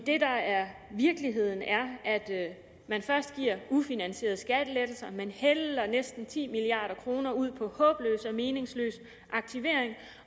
det der er virkeligheden er at man først giver ufinansierede skattelettelser man hælder næsten ti milliard kroner ud på håbløs og meningsløs aktivering